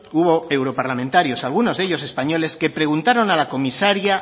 hubo europarlamentarios algunos de ellos españoles que preguntaron a la comisaria